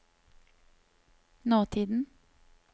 nåtiden